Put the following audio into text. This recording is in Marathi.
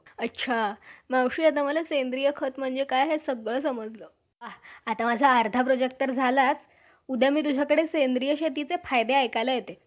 अच्छा. मावशी आता मला सेंद्रिय खत म्हणजे काय हे सगळं समजलं. आता माझा अर्धा project तर झाला. उद्या मी तुझ्याकडे सेंद्रिय शेतीचे फायदे ऐकायला येते.